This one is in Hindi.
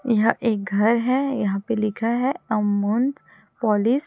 यहाँ एक घर है यहाँ पर लिखा है अमूंज पालिश --